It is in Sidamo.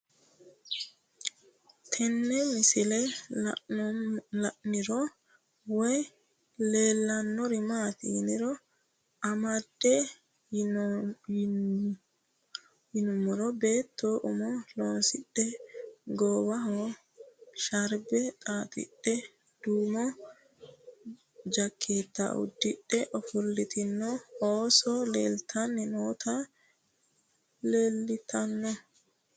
Tenne misilenni la'nanniri woy leellannori maattiya noori amadde yinummoro beetto ummo loosidhe goowaho shaaribbe xaaxidhe duummo jakeetta udidhe ofolitte oso'littanni nootti leelittanno